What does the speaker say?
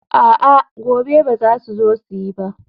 a'a, gobe ba za su zo yi ba